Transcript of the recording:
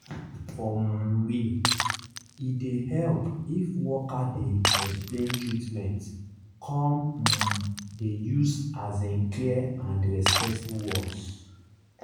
for um real e dey help if worker dey explain treatment come um dey use as in clear and respectful words